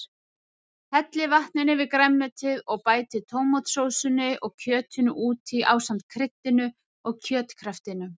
Hellið vatninu yfir grænmetið og bætið tómatsósunni og kjötinu út í ásamt kryddinu og kjötkraftinum.